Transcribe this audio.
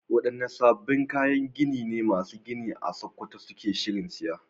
Wadanne sabbin kayan gini ne masu gini a Sakkwato suke shirin siya?